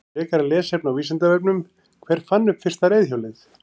Frekara lesefni á Vísindavefnum: Hver fann upp fyrsta reiðhjólið?